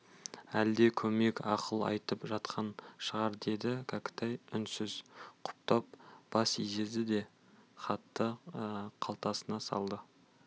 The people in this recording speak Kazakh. әлде көмек ақыл айтып жатқан шығар деді кәкітай үнсіз құптап бас изеді де хатты қалтасына салды